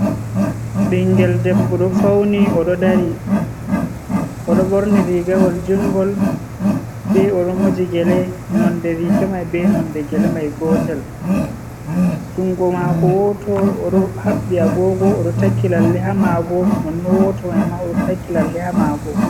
Ɓingel debbo ɗo fauni oɗo dari, oɗo ɓorni rigawol jungol be oɗo moji gele nonde riga mai be nonde gele mai gotel. Jungo mako woto oɗo haɓɓi agogo oɗo takki lalle ha maago, nonnon woto mai ma oɗo takki lalle ha maago.